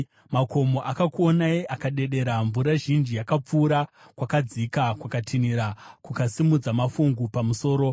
makomo akakuonai akadedera. Mvura zhinji yakapfuura; kwakadzika kwakatinhira kukasimudza mafungu pamusoro.